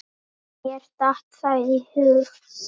Mér datt það í hug.